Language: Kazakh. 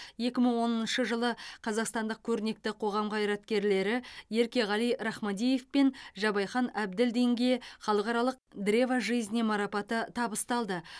екі мың оныншы жылы қазақстандық көрнекті қоғам қайраткерлері еркеғали рахмадиев пен жабайхан әбділдинге халықаралық древа жизни марапаты табысталды